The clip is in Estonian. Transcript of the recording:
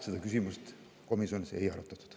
Seda küsimust komisjonis ei arutatud.